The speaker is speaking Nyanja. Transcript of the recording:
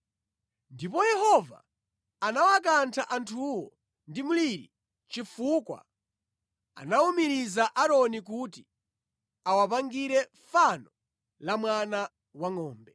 Ndipo Yehova anawakantha anthuwo ndi mliri chifukwa anawumiriza Aaroni kuti awapangire fano la mwana wangʼombe.